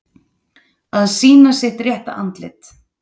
Að sýna sitt rétta andlit